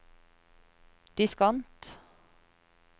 diskant